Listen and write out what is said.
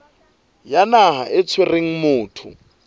ya naha e tshwereng motho